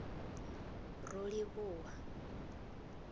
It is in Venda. rolivhuwa